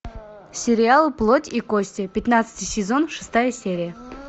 сериал плоть и кости пятнадцатый сезон шестая серия